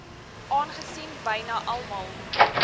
aangesien byna almal